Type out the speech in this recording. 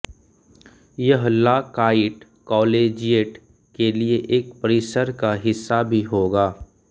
यह ला काइट कॉलेजिएट के लिए एक परिसर का हिस्सा भी होगा